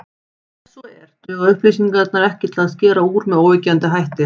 Ef svo er, duga upplýsingarnar ekki til að skera úr með óyggjandi hætti.